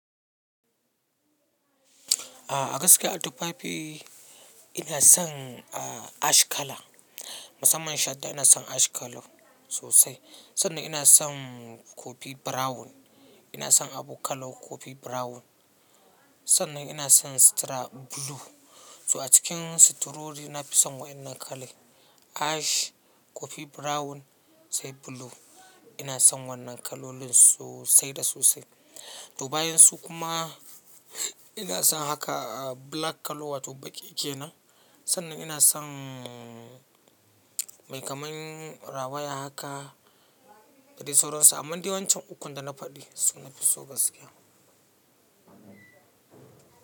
A gaskiya a tufafi ina son ash color. Musamman shadda ina son ash color sosai. Sannan ina son kofi brown. Ina son abu color kofi brown. Sannan ina son sitira blue. So a cikin sitirori na fi son waɗannan color Ash, kofi brown sai blue. Ina son wannan kalolin sosai da sosai. To bayan su kuma ina son haka black color wato baƙi kenan. Sannan ina son mai kaman rawaya haka da dai sauransu. Amman dai wancan ukun da na faɗi su na fi so gaskiya.